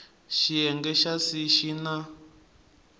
xiyenge xa c xi na